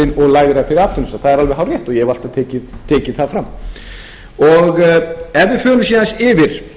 hárrétt og ég hef alltaf tekið það fram ef við förum síðan yfir